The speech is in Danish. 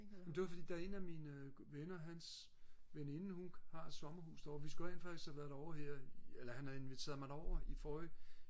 det var fordi der er en af mine venner hans veninde hun har et sommerhus derovre vi skulle rent faktisk have været derovre her i eller han havde inviteret mig derover her i forrige